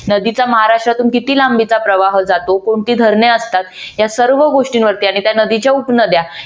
नदीचा महाराष्ट्रातून किती लांबीचा प्रवाह जातो. कोणती धरणे असतात. या सर्व गोष्टींवर त्यांनी त्या नदीच्या उपनद्या